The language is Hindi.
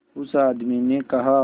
उस आदमी ने कहा